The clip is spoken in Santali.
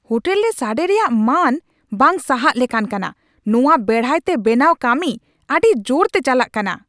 ᱦᱳᱴᱮᱞ ᱨᱮ ᱥᱟᱰᱮ ᱨᱮᱭᱟᱜ ᱢᱟᱱ ᱵᱟᱝ ᱥᱟᱦᱟᱜ ᱞᱮᱠᱟᱱ ᱠᱟᱱᱟ, ᱱᱚᱣᱟ ᱵᱮᱲᱦᱟᱭᱛᱮ ᱵᱮᱱᱟᱣ ᱠᱟᱹᱢᱤ ᱟᱹᱰᱤ ᱡᱳᱨᱛᱮ ᱪᱟᱞᱟᱜ ᱠᱟᱱᱟ ᱾